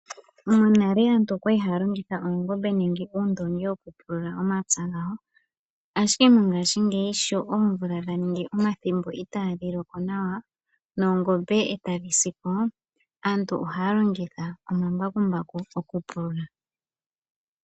Monale aantu okwa li haya longitha oongombe nenge uundoongi moku pulula omapya gawo. Ashike mongaashingeyi sho oomvula dha ningi omathimbo itaadhi loko nawa oongombe etadhi si po, aantu ohaya longitha omambakumbaku oku pulula.